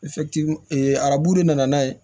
arabu de nana n'a ye